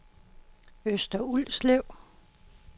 Øster Ulslev